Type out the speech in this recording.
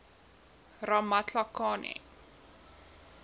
ramatlakane